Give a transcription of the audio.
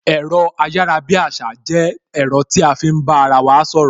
Ẹ̀rọ ayarabiasa jẹ́ ẹ̀rọ tí a fi ń bá ara wa sọ̀rọ̀